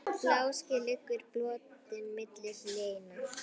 Bláskel liggur brotin milli hleina.